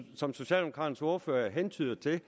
som socialdemokraternes ordfører hentyder til